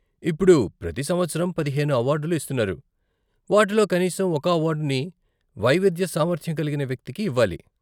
ఇప్పుడు, ప్రతి సంవత్సరం పదిహేను అవార్డులు ఇస్తున్నారు, వాటిలో కనీసం ఒక అవార్డుని వైవిధ్య సామర్థ్యం కలిగిన వ్యక్తికి ఇవ్వాలి.